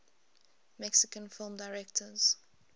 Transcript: mexican film directors